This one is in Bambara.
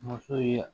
Muso ye